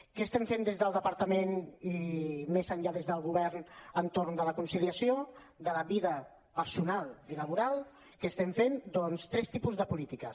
què fem des del departament i més enllà des del govern entorn de la conciliació de la vida personal i laboral què fem doncs tres tipus de polítiques